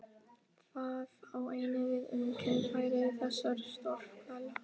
Það á einnig við um kynfæri þessar stórhvela.